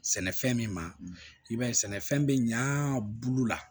Sɛnɛfɛn min ma i b'a ye sɛnɛfɛn bɛ ɲaa bulu la